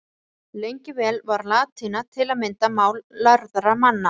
Lengi vel var latína til að mynda mál lærðra manna.